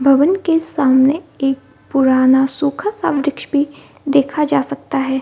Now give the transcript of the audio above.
भवन के सामने एक पुराना सूखा सा वृक्ष भी देखा जा सकता है ।